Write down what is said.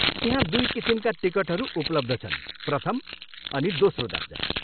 त्यहाँ दुई किसिमका टिकटहरू उपलब्ध छन्, प्रथम अनि दोस्रो दर्जा।